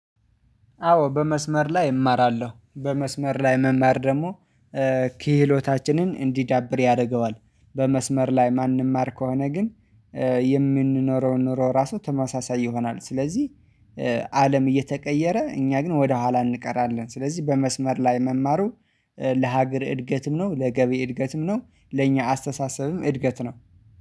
አዎ በመስመር ላይ እማራለሁ በመስመር ላይ መማር ደግሞ ክህሎታችንን እንዲዳብር ያደርገዋል። በመስመር ላይ ማንም ማንማር ከሆነ ግን የምንኖረውን ኑሮ ራሱ ተመሳሳይ ይሆናል። ስለዚህ አለም እየተቀየረ እኛ ግን ወደ ኋላ እንቀራለን። ስለዚህ በመስመር ላይ መማሩ ለሀገር እድገትም ነው ለገቢ እድገትም ነው ለእኛ አስተሳሰብም እድገት ነው።